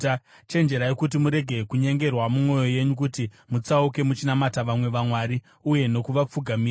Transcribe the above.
Chenjerai kuti murege kunyengerwa mumwoyo yenyu kuti mutsauke muchinamata vamwe vamwari uye nokuvapfugamira.